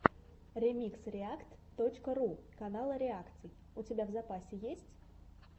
ремикс реакт точка ру канала реакций у тебя в запасе есть